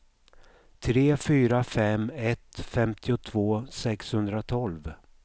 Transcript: tre fyra fem ett femtiotvå sexhundratolv